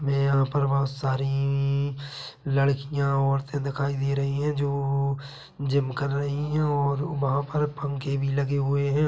ये वहाँ पर बहुत सारी लड़किया औरते दिखाई दे रही हैं जो जिम कर रहे हैं और वहाँ पर पंखे भी लगे हुई हैं ।